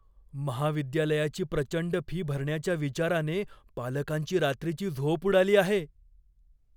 महाविद्यालयाची प्रचंड फी भरण्याच्या विचाराने पालकांची रात्रीची झोप उडाली आहे.